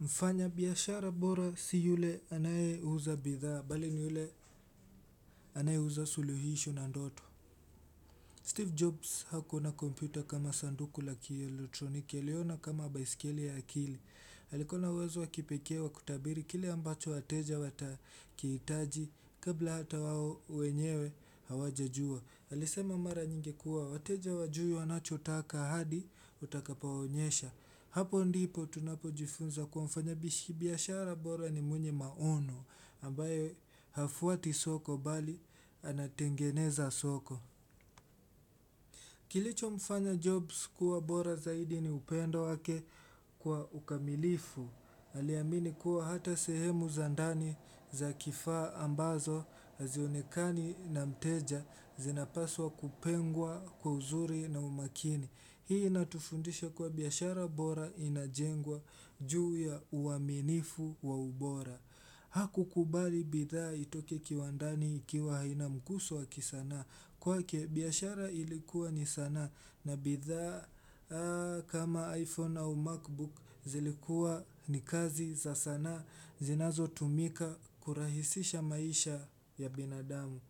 Mfanya biashara bora si yule anaye uza bidhaa, bali ni yule anaye uza suluhisho na ndoto. Steve Jobs hakuona kompyuta kama sanduku laki elektroniki, aliona kama baisikele ya akili. Alikua na uwezo wakipekee wa kutabiri kile ambacho wateja watakihitaji, kabla hata wao wenyewe hawajajua. Alisema mara nyingi kuwa, wateja wajui wanachotaka hadi utakapowaonyesha. Hapo ndipo tunapojifunza kwa mfanyabiashara bora ni mwenye maono, ambaye hafuati soko bali anatengeneza soko. Kilichomfanya jobs kuwa bora zaidi ni upendo wake kwa ukamilifu. Aliamini kuwa hata sehemu za ndani za kifaa ambazo azionekani na mteja zinapaswa kupengwa kwa uzuri na umakini. Hii inatufundisha kuwa biashara bora inajengwa juu ya uaminifu wa ubora Hakukubali bidhaa itoke kiwandani ikiwa haina mguso wa kisanaa kwake biashara ilikuwa ni sanaa na bidhaa kama iPhone au MacBook zilikuwa ni kazi za sanaa zinazotumika kurahisisha maisha ya binadamu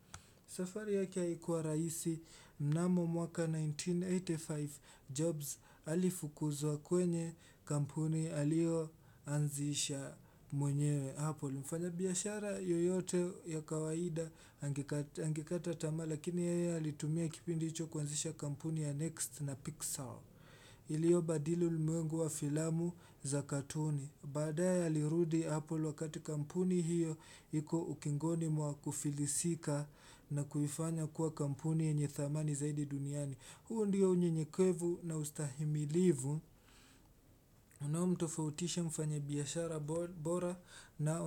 safari yake haikuwa raisi mnamo mwaka 1985 Jobs alifukuzwa kwenye kampuni alioanzisha mwenyewe Apple. Mfanyabiashara yoyote ya kawaida angekataa tamaa lakini yeye alitumia kipindi hicho kuanzisha kampuni ya Next na Pixel. Ilio badili ulimwengu wa filamu za katuni. Baadaye alirudi Apple wakati kampuni hiyo iko ukingoni mwa kufilisika na kuifanya kuwa kampuni yenye thamani zaidi duniani. Huu ndiyo unyenyekwevu na ustahimilivu unaomtofautisha mfanyabiashara bora na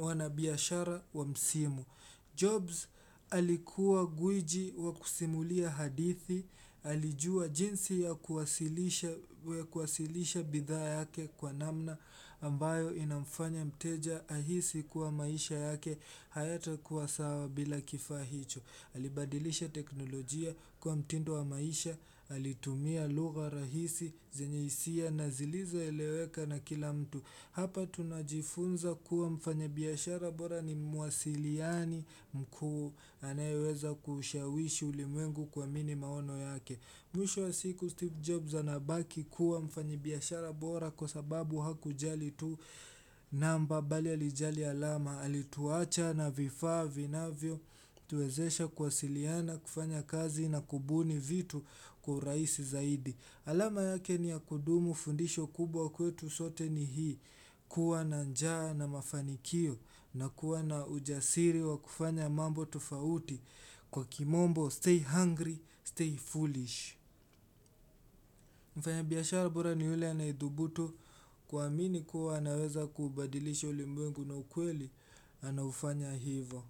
wanabiashara wa msimu. Jobs alikuwa gwiji wa kusimulia hadithi, alijua jinsi ya kuwasilisha bidhaa yake kwa namna ambayo inamfanya mteja ahisi kuwa maisha yake hayatakuwa sawa bila kifaa hicho Alibadilisha teknolojia kuwa mtindo wa maisha, alitumia lugha rahisi, zenye isia na zilizoeleweka na kila mtu Hapa tunajifunza kuwa mfanyabiashara bora ni mwasiliani mkuu anayeweza kushawishi ulimwengu kuamini maono yake. Mwisho wa siku Steve Jobs anabaki kuwa mfanyabiashara bora kwa sababu hakujali tu namba bali alijali alama. Alituacha na vifaa vinavyotuwezesha kuwasiliana kufanya kazi na kubuni vitu kwa uraisi zaidi. Alama yake ni ya kudumu fundisho kubwa kwetu sote ni hii kuwa na njaa na mafanikio na kuwa na ujasiri wa kufanya mambo tofauti kwa kimombo stay hungry, stay foolish. Mfanyabiashara bora ni yule anaethubutu kuamini kuwa anaweza kubadilisha ulimwengu na ukweli anaufanya hivo.